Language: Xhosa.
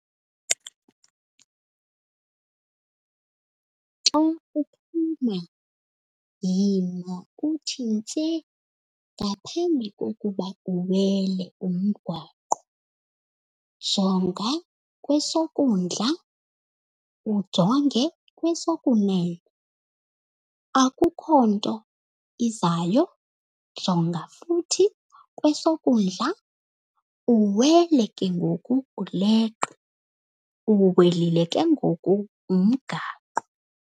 Xa uphuma yima utshintshe ngaphambi kokuba uwele umgwaqo. Jonga kwesokundla, ujonge kwesokunene, akukho nto izayo? Jonga futhi kwesokundla, uwele ke ngoku uleqe. Uwelile ke ngoku umgaqo.